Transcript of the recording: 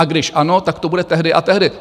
A když ano, tak to bude tehdy a tehdy.